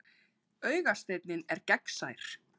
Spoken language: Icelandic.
Augasteinninn er gegnsær.